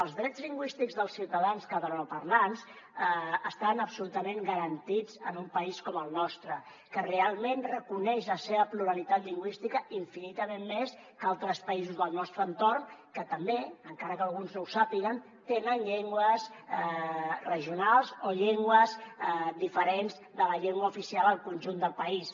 els drets lingüístics dels ciutadans catalanoparlants estan absolutament garantits en un país com el nostre que realment reconeix la seva pluralitat lingüística infinitament més que altres països del nostre entorn que també encara que alguns no ho sàpiguen tenen llengües regionals o llengües diferents de la llengua oficial al conjunt del país